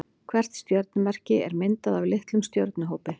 Hvert stjörnumerki er myndað af litlum stjörnuhópi.